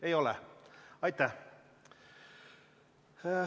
Ei ole soovi.